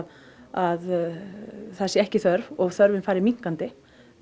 að það sé ekki þörf og þörfin fari minnkandi